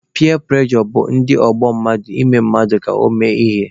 Piya prejọ bụ ndị ọgbọ mmadụ ime mmadụ ka ọ mee ihe.